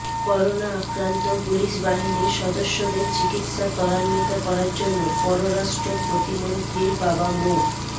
corona আক্রান্ত police বাহিনীর সদস্যদের চিকিৎসা ত্বরান্বিত করার জন্য পররাষ্ট্র প্রতিমন্ত্রীর বাবা মো